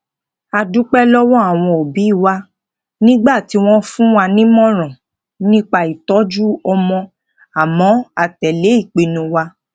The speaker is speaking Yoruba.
a dúpé lówó àwọn obi wa nígbà tí won fún wa nímòràn nipa itoju omo amo a tẹle pinnu wa